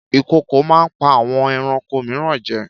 Ìkokò máa ń pa àwọn ẹranko mìíràn jẹ